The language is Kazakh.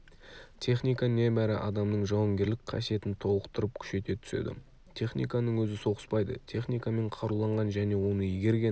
техника небәрі адамның жауынгерлік қасиетін толықтырып күшейте түседі техниканың өзі соғыспайды техникамен қаруланған және оны игерген